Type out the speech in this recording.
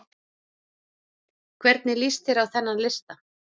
Hvernig lýst þér á þennan lista?